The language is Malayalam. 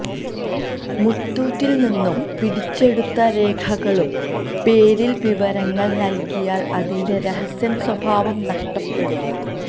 മുത്തൂറ്റില് നിന്നും പിടിച്ചെടുത്ത രേഖകളുടെ പേരില് വിവരങ്ങള് നല്കിയാല് അതിന്റെ രഹസ്യ സ്വഭാവം നഷ്ടപ്പെടും